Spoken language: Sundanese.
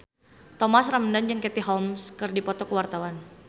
Thomas Ramdhan jeung Katie Holmes keur dipoto ku wartawan